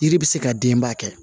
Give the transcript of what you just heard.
Yiri bɛ se ka denba kɛ